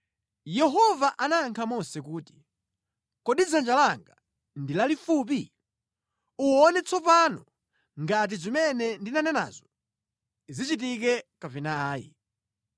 Yehova anayankha Mose kuti, “Kodi dzanja langa ndi lalifupi? Uwona tsopano ngati zimene ndanenazo zichitike kapena ayi.”